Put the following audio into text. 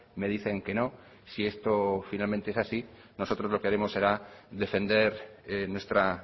me dicen que no si esto finalmente es así nosotros lo que haremos será defender nuestra